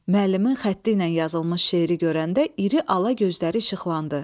Müəllimin xətti ilə yazılmış şeiri görəndə iri ala gözləri işıqlandı.